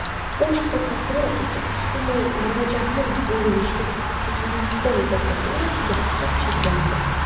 Bosh prokuratura esa ushbu murojaatni o‘rganishni Checheniston prokuraturasiga topshirgandi .